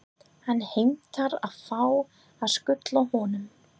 Hann heimtar að fá að skutla honum.